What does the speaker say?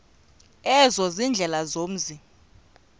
ezo ziindlela zomzi